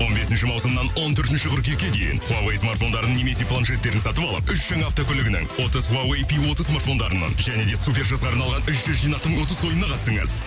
он бесінші маусымнан он төртінші қыркүйекке дейін хуавей смартфондарын немесе планшеттерін сатып алып үш жаңа автокөлігінің отыз хуавей пи отыз стартфондарынан және де супер жазға арналған үш жүз жинақтың ұтыс ойынына қатысыңыз